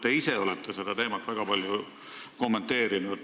Teie olete seda teemat väga palju kommenteerinud.